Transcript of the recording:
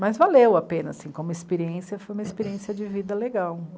Mas valeu a pena assim, como experiência, foi uma experiência de vida legal.